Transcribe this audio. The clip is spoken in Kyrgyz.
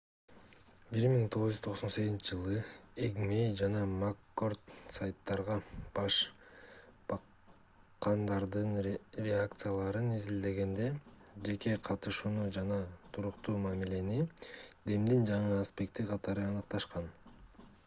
1998-жылы эйгмей жана маккорд сайттарга баш баккандардын реакцияларын изилдегенде жеке катышууну жана туруктуу мамилени демдин жаңы аспекти катары аныкташкан